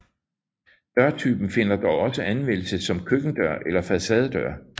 Dørtypen finder dog også anvendelse som køkkendør eller facadedør